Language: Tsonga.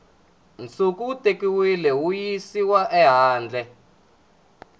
nsuku wu tekiwile wuyisiwa ehandle